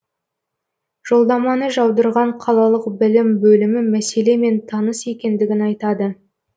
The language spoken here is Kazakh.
жолдаманы жаудырған қалалық білім бөлімі мәселемен таныс екендігін айтады